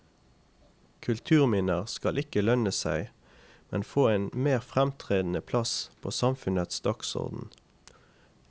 Kulturminner skal ikke lønne seg, men få en mer fremtredende plass på samfunnets dagsorden.